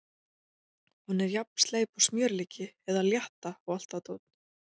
Hún er jafn sleip og smjörlíki eða Létta og allt það dót.